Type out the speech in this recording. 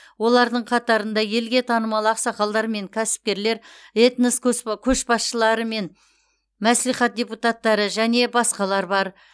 олардың қатарында елге танымал ақсақалдар мен кәсіпкерлер этнос көсба көшбасшылары мен мәслихат депутаттары және басқалар бар